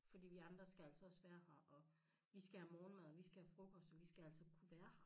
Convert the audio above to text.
Fordi vi andre skal altså også være her og vi skal have morgenmad og vi skal have frokost og vi skal altså kunne være her